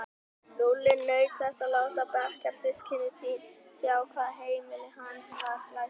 Lúlli naut þess að láta bekkjarsystkini sín sjá hvað heimili hans var glæsilegt.